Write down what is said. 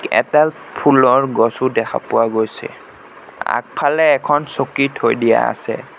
এডাল ফুলৰ গছো দেখা পোৱা গৈছে আগফালে এখন চকী থৈ দিয়া আছে।